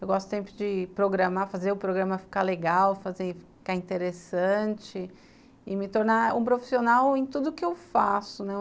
Eu gosto tanto de programar, fazer o programa ficar legal, ficar interessante e me tornar um profissional em tudo o que eu faço, né